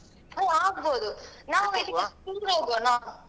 ಹ ಅಲ್ಲ ಅಗ್ಬೋದು ನಾವ್ ಎಲ್ಲಿಗಾದ್ರೂ tour ಹೋಗ್ವಾನಾ?